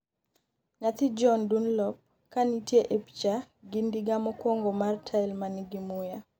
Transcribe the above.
nyathi John Dunlop ka nitie e picha gi ndiga mokwongo mar tael manigi muya